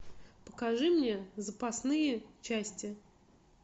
покажи мне запасные части